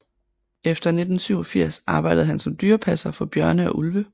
Efter 1987 arbejdede han som dyrepasser for bjørne og ulve